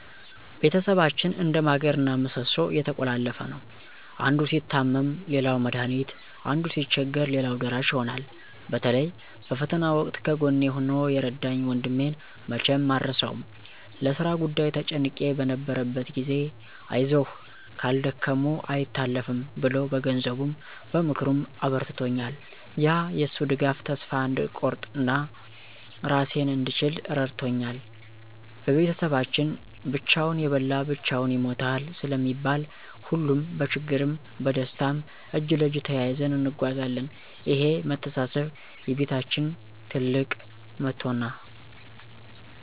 ቤተሰባችን እንደ ማገርና ምሰሶ የተቆላለፈ ነው፤ አንዱ ሲታመም ሌላው መድሃኒት፣ አንዱ ሲቸገር ሌላው ደራሽ ይሆናል። በተለይ በፈተና ወቅት ከጎኔ ሆኖ የረዳኝ ወንድሜን መቼም አልረሳውም። ለሥራ ጉዳይ ተጨንቄ በነበረበት ጊዜ፣ "አይዞህ፣ ካልደከሙ አይታለፍም" ብሎ በገንዘቡም በምክሩም አበርትቶኛል። ያ የሱ ድጋፍ ተስፋ እንድቆርጥና ራሴን እንድችል ረድቶኛል። በቤተሰባችን "ብቻውን የበላ ብቻውን ይሞታል" ስለሚባል፣ ሁሌም በችግርም በደስታም እጅ ለእጅ ተያይዘን እንጓዛለን። ይሄ መተሳሰብ የቤታችን ትልቅ መቶና ነ